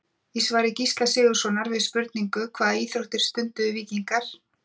Í svari Gísla Sigurðssonar við spurningunni Hvaða íþróttir stunduðu víkingar?